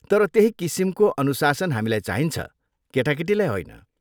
तर त्यही किसिमको अनुशासन हामीलाई चाहिन्छ, केटाकेटीलाई होइन।